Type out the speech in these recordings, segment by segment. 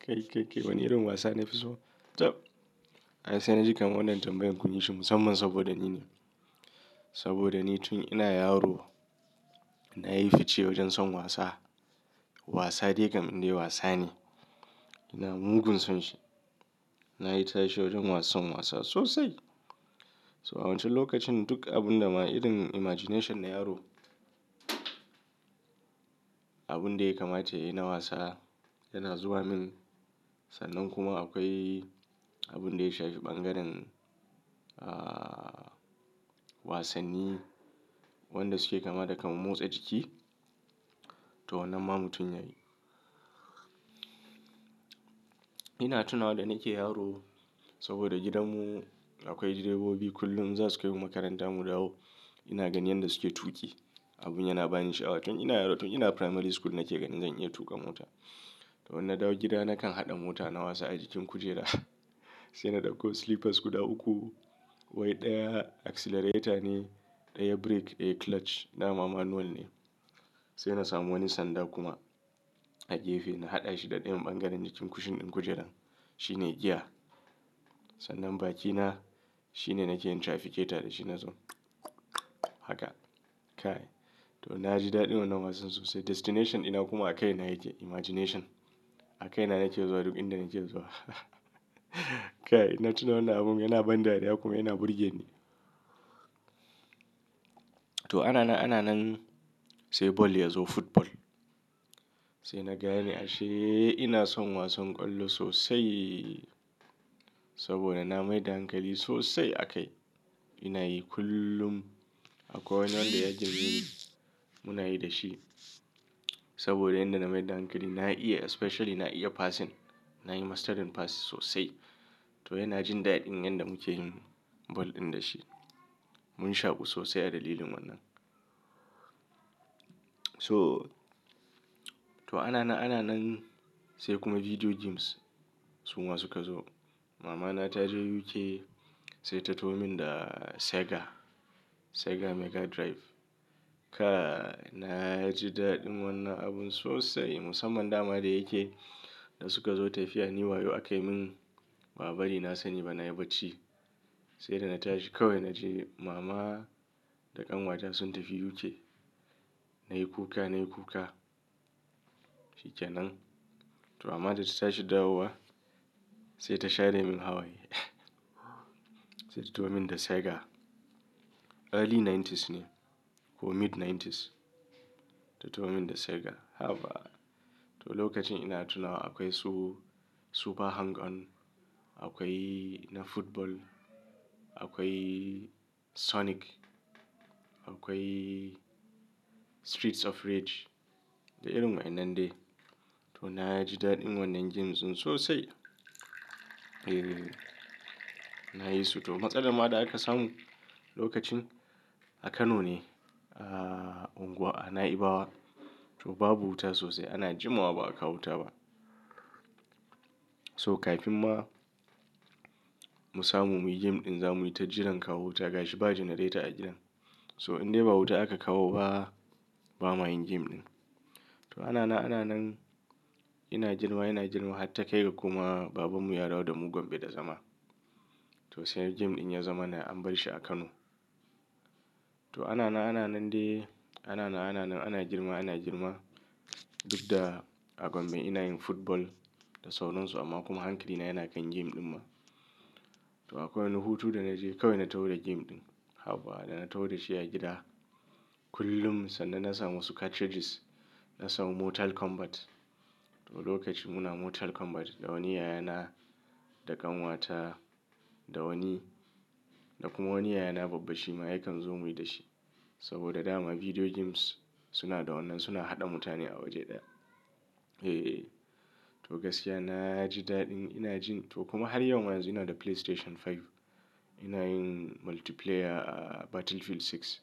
Kai, kai, kai wane irin wasa nafi so? Tab, ai sai na ji kam wannan tambayan kun yi shi musamman saboda ni ne. Saboda ni tun ina yaro na yi fice wajen son wasa. Wasa dai kam dai wasa ne. Ina mugun son shi. Na yi tashe wajen wasan wasa sosai. So a wancan lokacin duk abun da ma idon imagination na yaro, abun da ya kamata yayi na wasa yana zuwa min. Sannan kuma akwai abun da ya shafi bangaren, aaah, wasanni wanda suke kama da kamar motsa jiki to wannan ma mu tunya yi. Ina tuna wa da nake yaro saboda gidanmu akwai direbobi kullum in za su kai mu makaranta mu dawo ina ganin yadda suke tuƙi. Abun yana bani sha'awa tun ina yaro tun ina primary school nake ganin zan iya tuƙa mota. To wannan dawo gida nakan haɗa mota na wasa a jikin kujera sai na ɗauko slippers guda uku wai ɗaya accelerator ne, ɗaya brake eh clutch. Na ma manual ne. Sai na samu wani sanda kuma a gefe na haɗa shi da ɗayan bangaren jikin kushin ɗin kujerar. Shi ne gear. Sannan bakina shi ne nake yin trafficator da shi na zo haka. Kai. To na ji daɗin wannan wasan sosai. Destination ina kuma a kai na yake imagination. A kai ina nake zuwa duk inda nake zuwa kai. Ina tuna wannan abun yana ban dariya kuma yana burge ni. To ana na, ana nan sai ball ya zo football. Sai na gane ashe ina son wasan kwallo sosai saboda na mai hankali sosai a kai. Ina yi kullum akwai wani wanda ya jirni muna yi da shi saboda inda na mai hankali na iya especially na iya passing. Na yi mastering pass sosai. To yana jin daɗin yadda muke yin ball ɗin da shi. Mun shaƙu sosai a dalilin wannan. To, to ana na, ana nan sai kuma video games su ma suka zo. Mama na ta je UK sai ta taho min da Sega. Sega Mega Drive. Ka na ji daɗin wannan abun sosai musamman dama da yake da suka zo tafiya ni wayo a kai min babba ne na sani ba na yi bacci. Sai da na tashi kawai na ji mama da ƙanwata sun tafi UK. Na yi kuka, na yi kuka. Fice nan to mama tana tashi dawowa sai ta share min hawaye sai ta taho min da Sega. Early nineties ne ko mid nineties ta taho min da Sega. Haba! To lokacin ina tuna akwai su Super Hang-On. Akwai na football. Akwai Sonic. Akwai Streets of Rage da irin wa'inan dai. To na ji daɗin wannan games din sosai. E, na yi su. To matsalar ma da aka samu lokacin a Kano ne. Aaah, unguwa a Na'ibawa. To babu wuta sosai ana jima wa ba a kawo wuta ba. So kafin ma mu samu muyi game ɗin za muyi ta jiran kawo wuta gashi ba generator a gidan. So in dai ba wuta aka kawo ba, ba mayin game ɗin. To ana na, ana nan ina jirma, ina jirma har ta kai ga kuma babanmu ya dawo da mugun bai da zama. To sai game ɗin ya zama na an bar shi a Kano. To ana na, ana nan dai. Ana na, ana nan ina girma, ina jirma duk da a Gombe ina yin football da saunansu amma kuma hankali na yana kan game ɗin ma. To akwai wani hutu da na je kawai na taho da game ɗin. Haba! Da na taho da shi a gida kullum sannan na samu wasu cartridges. Na samu Mortal Kombat. To lokaci muna Mortal Kombat da wani yayana, da ƙanwata, da wani da kuma wani yayana babbashi ma yakan zo muyi da shi saboda dama video games suna da wannan suna haɗa mutane a waje ɗaya. E, to gaskiya na ji daɗin ina jin to kuma har yau ma ina da PlayStation 5. Ina yin multiplayer Battlefield 6.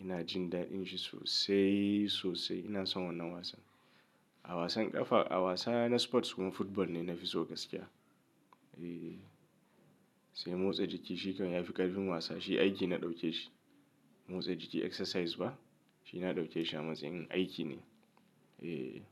Ina jin daɗin shi sosai, sosai. Ina son wannan wasan. A wasan ƙafa a wasa na sports kuma football ne nafi so gaskiya. E, sai motsa jiki shi kawai ya fi ƙarfin wasa shi aiki na ɗauke shi. Motsa jiki exercise ba shi na ɗauke shi a matsayin aiki ne. E.